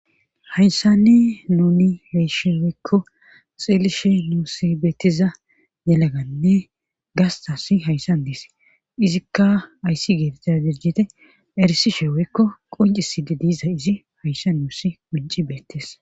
Hayssanne nooni heysheweekko xeelishe nuusi beettiza yelaganne gastas hayssan deese izikka ayssi geetetiza dirjite erisi sheeweekko qonciside diiza izi hayssa nuussi qunci beettes.